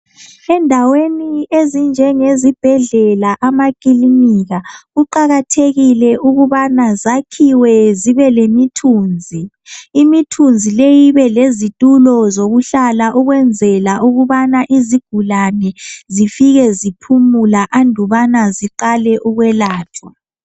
Endaweni ezinjenge zibhedlela ,amakilinika . Kuqakathekile ukubana zakhiwe zibe lemithunzi ,imithunzi leyi ibe lezithulo zokuhlala .Ukwenzela ukubana izigulane zifike ziphumula andubana ziqale ukwelatshwa.